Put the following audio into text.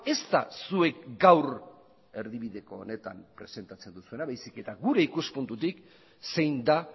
ez da zuek gaur erdibideko honetan presentatzen duzuena baizik eta gure ikuspuntutik zein da